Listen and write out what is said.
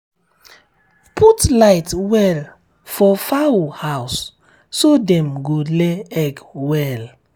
put light well for um fowl house so dem go lay egg well.